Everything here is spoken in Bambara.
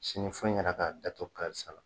Sini fo i yɛrɛ k'a datugu karisa la